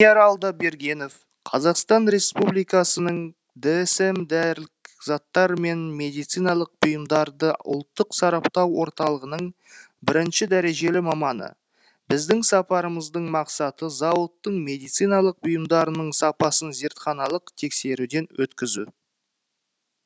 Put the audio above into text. алдабергенов қазақстан республикасының дсм дәрілік заттар мен медициналық бұйымдарды ұлттық сараптау орталығының бірінші дәрежелі маманы біздің сапарымыздың мақсаты зауыттың медициналық бұйымдарының сапасын зертханалық тексеруден өткізу